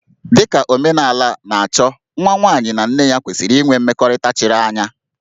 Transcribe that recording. Dị ka omenala na-achọ, nwa nwaanyị na nne ya kwesịrị inwe mmekọrịta chiri anya